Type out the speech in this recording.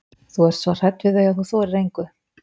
Þú ert svo hrædd við þau að þú þorir engu.